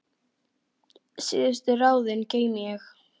Síðustu ráðin geymi ég.